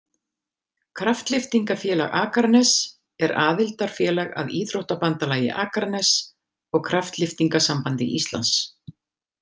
Kraftlyftingafélag Akraness er aðildarfélag að Íþróttabandalagi Akraness og Kraftlyftingasambandi Íslands.